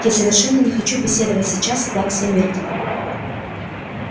я совершенно не хочу беседовать сейчас с плаксой миртл